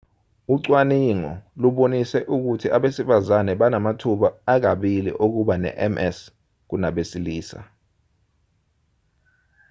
ucwaningo lubonise ukuthi abesifazane banamathuba akabili okuba nems kunabesilisa